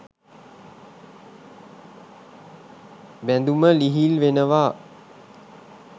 බැඳුම ලිහිල් වෙනවා.